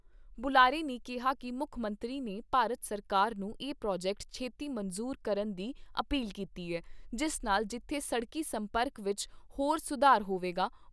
ਬੁਲਾਰੇ ਨੇ ਕਿਹਾ ਕਿ ਮੁੱਖ ਮੰਤਰੀ ਨੇ ਭਾਰਤ ਸਰਕਾਰ ਨੂੰ ਇਹ ਪ੍ਰਾਜੈਕਟ ਛੇਤੀ ਮਨਜ਼ੂਰ ਕਰਨ ਦੀ ਅਪੀਲ ਕੀਤੀ ਏ ਜਿਸ ਨਾਲ ਜਿੱਥੇ ਸੜਕੀ ਸੰਪਰਕ ਵਿੱਚ ਹੋਰ ਸੁਧਾਰ ਹੋਵੇਗਾ, ਉਥੇ ਹੀ ਖਿੱਤੇ ਦੇ ਸਮਾਜਿਕ ਆਰਥਿਕ ਵਿਕਾਸ ਨੂੰ ਹੋਰ ਹੁਲਾਰਾ ਮਿਲੇਗਾ।